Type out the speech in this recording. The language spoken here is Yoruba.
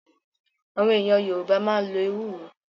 Àwọn èèyàn Yorùbá máa ń lo Ewúro